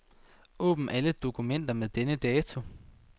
Åbn alle dokumenter med denne dato.